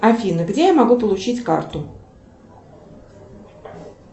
афина где я могу получить карту